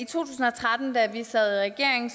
tusind og tretten da vi sad i regering